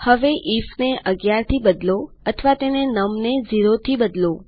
હવે આઇએફ ને ૧૧ થી બદલો અથવા તને નમ ને ૦ થી બદલો